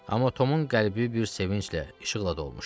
Amma Tomun qəlbi bir sevinclə, işıqla dolmuşdu.